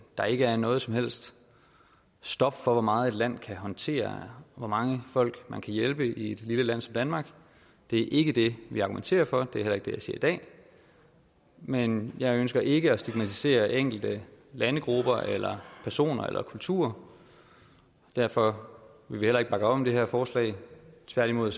der ikke er noget som helst stop for hvor meget et land kan håndtere hvor mange folk man kan hjælpe i et lille land som danmark det er ikke det vi argumenterer for det er heller ikke det jeg siger i dag men jeg ønsker ikke at stigmatisere enkelte landegrupper eller personer eller kulturer derfor vil vi heller ikke bakke om det her forslag tværtimod